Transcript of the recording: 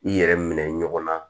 I yɛrɛ minɛ ɲɔgɔn na